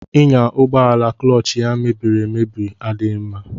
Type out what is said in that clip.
Ịnya ụgbọ ala kụlọọch ya mebiriemebi adịghị mma.